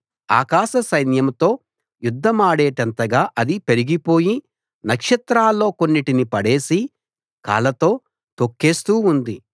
ఆకాశ సైన్యంతో యుద్ధమాడేటంతగా అది పెరిగిపోయి నక్షత్రాల్లో కొన్నిటిని పడేసి కాళ్లతో తొక్కేస్తూ ఉంది